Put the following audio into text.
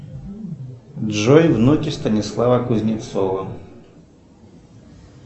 джой внуки станислава кузнецова